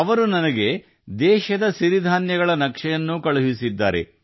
ಅವರು ನನಗೆ ದೇಶದ ಸಿರಿಧಾನ್ಯಗಳ ನಕ್ಷೆಯನ್ನೂ ಕಳುಹಿಸಿದ್ದಾರೆ